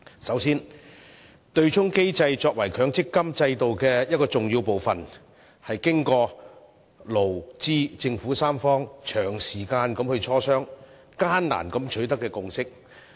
首先，對沖機制作為強積金制度的重要部分，是經過勞、資和政府三方長時間的磋商，艱難地取得的共識。